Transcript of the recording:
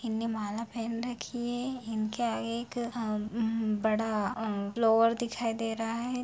इनने माला पहन रखी है इनके आगे एक अ हम्म बड़ा हम्म फ्लोअर दिखाई दे रहा है ।